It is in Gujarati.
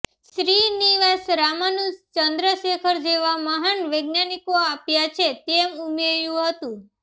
શ્રીનિવાસ રામાનુજ ચંદ્રશેખર જેવા મહાન વૈજ્ઞાનિકો આપ્યા છે તેમ ઉમેર્યું હતું